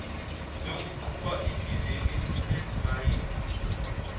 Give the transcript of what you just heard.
yokuqhuba ibhizinisi lezimayini